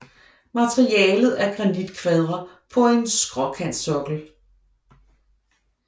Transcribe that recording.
Materialet er granitkvadre på en skråkantsokkel